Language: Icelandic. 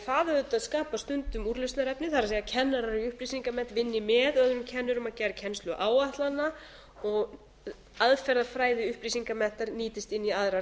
það auðvitað skapar stundum úrlausnarefni það er kennarar í upplýsingamennt vinni með öðrum kennurum að gerð kennsluáætlana og aðferðafræði upplýsingameðferð nýtist inn í aðrar